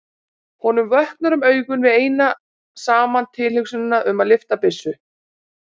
Honum vöknar um augu við eina saman tilhugsunina um að lyfta byssu.